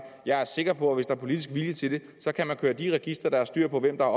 jeg er sikker på at hvis der er politisk vilje til det kan man køre de registre der har styr på hvem der